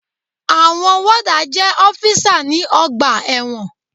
Àwọn wọ́dà jẹ́ ọ́físà ní ọgbà ẹ̀wọ̀n.